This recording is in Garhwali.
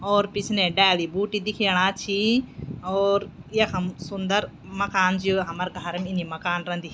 और पिछने डाली बूटी दिखेणा छिं और यखम सुन्दर मकान च यु हमर घारम इन्नी मकान रंदी।